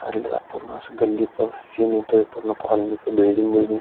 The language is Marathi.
पूर्ण अस गल्लीचा सीन येतोय पूर्ण कॉलनी च बिल्डिंग बिल्डिंग --